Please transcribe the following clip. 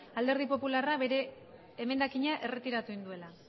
alderdi popularrak bere emendakina erretiratu egin duela